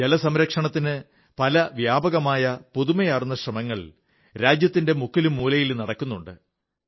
ജലസംരക്ഷണത്തിന് പല വ്യാപകങ്ങളായ പുതുമയാർന്ന ശ്രമങ്ങൾ രാജ്യത്തിന്റെ എല്ലാ മൂലകളിലും നടക്കുന്നുണ്ട്